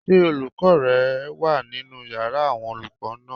Ṣé olùkọ́ rẹ wà nínu yàrá àwọn olùkọ́ náà?